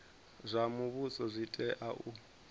zwa muvhuso zwi tea u